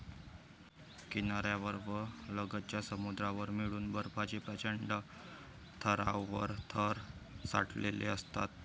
किनाऱ्यावर व लगतच्या समुद्रावर मिळून बर्फाचे प्रचंड थरांवर थर साठलेले असतात.